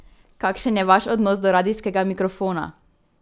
Kakšen je vaš odnos do radijskega mikrofona?